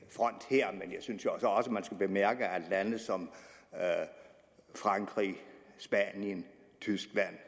i front her men jeg synes jo så også at man skulle bemærke at lande som frankrig spanien tyskland